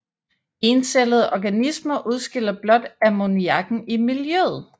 Encellede organismer udskiller blot ammoniakken i miljøet